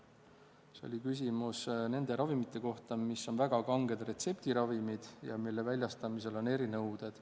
Siis oli küsimus nende ravimite kohta, mis on väga kanged retseptiravimid ja mille väljastamisel on erinõuded.